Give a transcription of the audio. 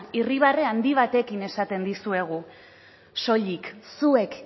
irribarre handi batekin esaten dizuegu soilik zuek